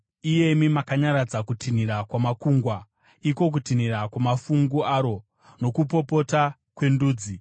iyemi makanyaradza kutinhira kwamakungwa, iko kutinhira kwamafungu aro, nokupopota kwendudzi.